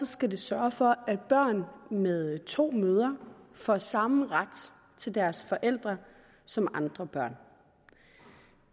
skal det sørge for at børn med to mødre får samme ret til deres forældre som andre børn